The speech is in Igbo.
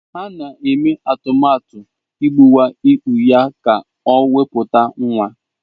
Ha na-eme atụmatụ igbuwa ikpu ya ka o wepụta nwa.